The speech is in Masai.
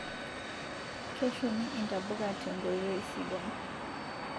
keshumi intapuka tenkoitoii sidai